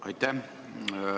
Aitäh!